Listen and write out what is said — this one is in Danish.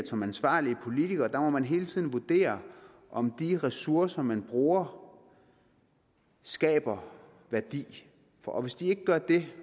som ansvarlig politiker hele tiden må vurdere om de ressourcer man bruger skaber værdi og hvis de ikke gør det